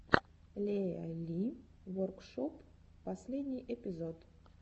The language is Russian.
лея ли воркшоп последний эпизод